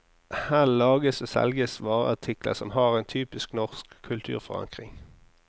Her lages og selges vareartikler som har en typisk norsk kulturforankring.